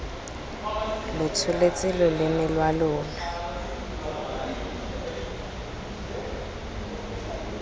lo tsholetse loleme lwa lona